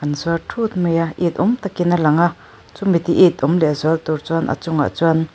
an zuar thut mai a it awm tak in a lang a chu mi ti it awm leh zual tur chuan a chung ah chuan --